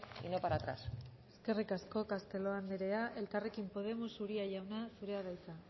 y no para atrás eskerrik asko castelo andrea elkarrekin podemos uria jauna zurea da hitza